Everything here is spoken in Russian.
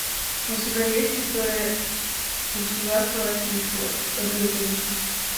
у тебя есть история государства российского рюриковичи